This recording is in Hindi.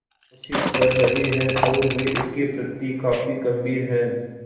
कोशिश कर रहे हैं और वे इसके प्रति काफी गंभीर हैं